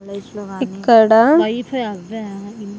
Life లో గాని ఇక్కడ .